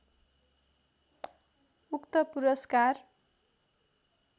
उक्त पुरस्कार